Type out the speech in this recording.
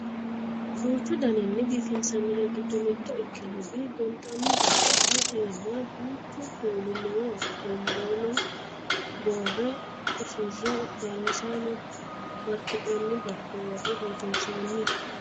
duuchu daninni biifinsanniri giddo mitto ikkinori gonxanni daallasa iima duuchu kuuli noo tonbola boorre usurre daallasanao barki'nanni barko worre biifinsoonni